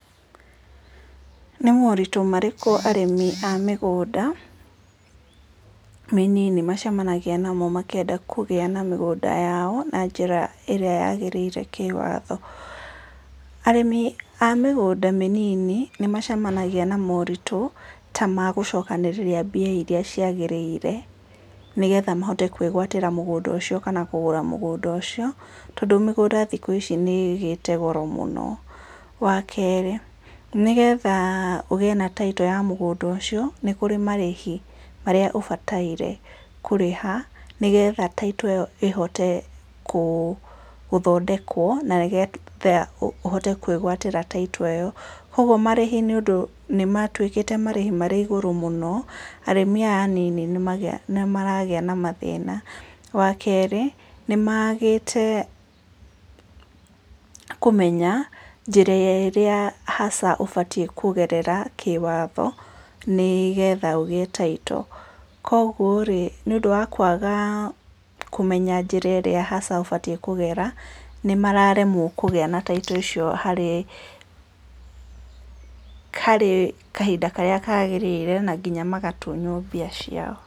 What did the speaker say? Nĩ moritũ marĩkũ arĩmi a mĩgũnda mĩnini macemanagia namo makĩenda kũgĩa na mĩgũnda yao na njĩra ĩrĩa yagĩrĩire kĩĩwatho? Arĩmi a mĩgũnda mĩnini nĩ macemagia na moritũ ta magũcokanĩrĩria mbia iria cia gĩrĩire, nĩgetha mahote kũgũra kana kwĩgatĩra mũgũnda ũcio, tondũ mĩgũnda thikũ ici nĩgĩte goro mũno, wa kerĩ nĩgetha ũgĩe na taitũ ya mũgũnda ũcio nĩ kũrĩ marĩhi marĩa ũbataire kũrĩha nĩgetha taitũ ĩhote gũthondekwo na nĩgetha ũhote kwĩgatĩta taitũ ĩyo, kwoguo marĩhi nĩ ũndũ nĩ matuĩkĩte marĩhi marĩ igũrũ mũno, arĩmi aya anini nĩ maragĩa na mathĩna wa kerĩ, nĩ magĩte kũmenya njĩra ĩrĩa hasa ũbatie kũgerera kĩwatho nĩgetha ũgĩe taito, kwoguo nĩ ũndũ wa kwaga kũmenya njĩra ĩria hasa ũbatie kũgeria nĩ maremwo kũgĩa na taito icio harĩ, harĩ kahinda karĩa kagĩrĩire na nginya magatunywo mbia ciao.